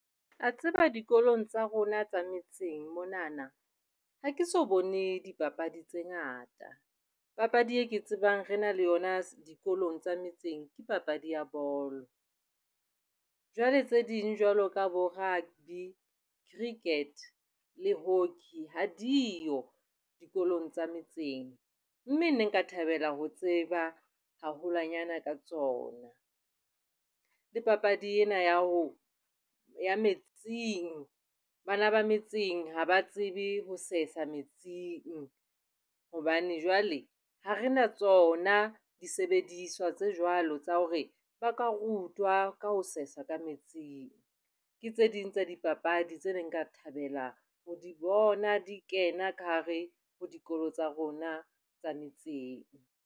Wa tseba dikolong tsa rona tsa metseng monana ha ke so bone dipapadi tse ngata. Papadi eo ke e tsebang re na le yona dikolong tsa metseng ke papadi ya bolo. Jwale tse ding jwalo ka bo-rugby, cricket, hockey ha diyo dikolong tsa metseng. Mme nka thabela ho tseba haholwanyane ka tsona le papadi ena ya ho ya metsing. Bana ba metseng ha ba tsebe ho sesa metsing hobane jwale ha re na tsona disebediswa tse jwalo tsa hore ba ka rutwa ka ho sesa ka metsing. Ke tse ding tsa dipapadi tse neng nka thabela ho di bona di kena ka hare ho dikolo tsa rona tsa metseng.